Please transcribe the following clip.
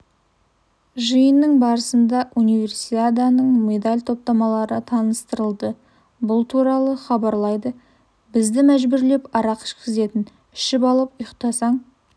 жиынның барысында универсиаданың медаль топтамалары таныстырылды бұл туралы хабарлайды бізді мәжбүрлеп арақ ішкізетін ішіп алып ұйықтасаң